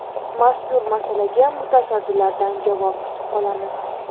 Mazkur masalaga mutasaddilardan javob kutib qolamiz.